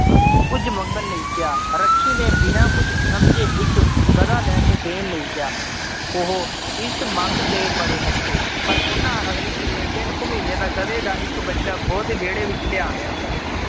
ਕੁੱਝ ਮੰਗਣ ਲਈ ਕਿਹਾ ਰੱਖੀ ਨੇ ਬਿਨਾਂ ਕੁੱਝ ਸਮਝੇ ਇੱਕ ਗਧਾ ਲੈ ਕੇ ਦੇਣ ਲਈ ਕਿਹਾ ਉਹ ਇਸ ਮੰਗ ਤੇ ਬੜੇ ਹੱਸੇ, ਪਰ ਉਹਨਾਂ ਅਗਲੀ ਸਵੇਰ ਤਿੰਨ ਕੁ ਮਹੀਨੇ ਦਾ ਗਧੇ ਦਾ ਇੱਕ ਬੱਚਾ ਉਹਦੇ ਵਿਹੜੇ ਵਿੱਚ ਲਿਆ ਲਿਆਂਦਾ।